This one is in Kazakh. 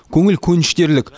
көңіл көншітерлік